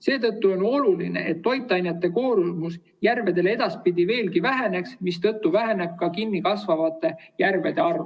Seetõttu on oluline, et toitainete koormus järvedele edaspidi veelgi väheneks, mistõttu väheneks ka kinnikasvavate järvede arv.